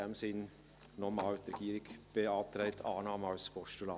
In diesem Sinn noch einmal: Die Regierung beantragt die Annahme als Postulat.